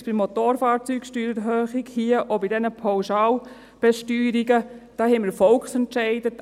Sei es bei der Motorfahrzeugsteuererhöhung oder wie hier bei diesen Pauschalbesteuerungen – da haben wir Volksentscheide.